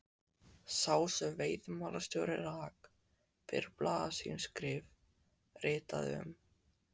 sá sem veiðimálastjóri rak fyrir blaðaskrif sín, ritaði um